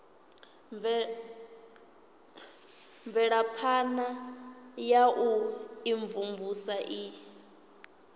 mvelaphana ya u imvumvusa i